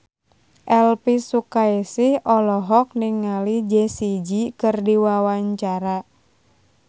Elvy Sukaesih olohok ningali Jessie J keur diwawancara